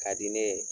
Ka di ne ye